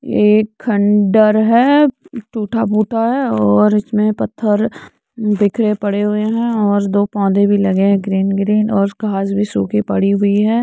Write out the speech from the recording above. ये एक खंडर है। टूटा फूटा है और इसमें पत्थर बिखरे पड़े हुए हैं और दो पौधे भी लगे हैं ग्रीन ग्रीन और घास भी सूखी हुई पड़ी हुई है।